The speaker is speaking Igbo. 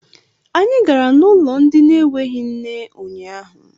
Anyị gara n'ụlọ ndị na-enweghị nne unyaahụ.